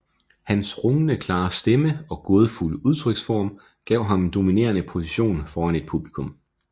Hans rungende klare stemme og gådefulde udtryksform gav ham en dominerende position foran et publikum